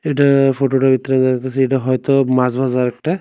এটা ফটোটার ভিতরে দেখা যাইতেসে এটা হয়তো মাছবাজার একটা।